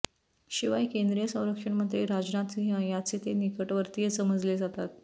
शिवाय केंद्रीय संरक्षणमंत्री राजनाथ सिंह यांचे ते निकटवर्तीय समजले जातात